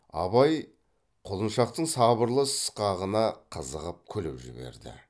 абай құлыншақтың сабырлы сықағына қызығып күліп жіберді